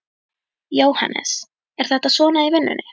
Jóhannes: Er þetta svona í vinnunni?